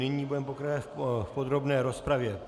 Nyní budeme pokračovat v podrobné rozpravě.